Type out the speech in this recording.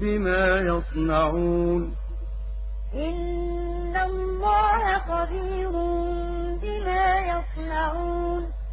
بِمَا يَصْنَعُونَ قُل لِّلْمُؤْمِنِينَ يَغُضُّوا مِنْ أَبْصَارِهِمْ وَيَحْفَظُوا فُرُوجَهُمْ ۚ ذَٰلِكَ أَزْكَىٰ لَهُمْ ۗ إِنَّ اللَّهَ خَبِيرٌ بِمَا يَصْنَعُونَ